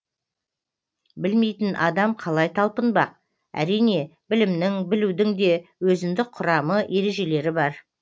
білмейтін адам қалай талпынбақ әрине білімнің білудің де өзіндік құрамы ережелері бар